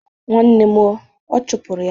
Nwanne m o! Ọ chọpụrụ ya.